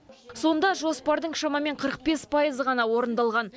сонда жоспардың шамамен қырық бес пайызы ғана орындалған